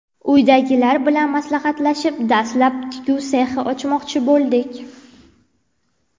Uydagilar bilan maslahatlashib, dastlab tikuv sexi ochmoqchi bo‘ldik.